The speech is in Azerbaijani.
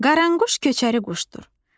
Qaranquş köçəri quşdur.